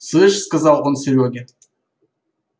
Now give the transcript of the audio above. слышь сказал он серёге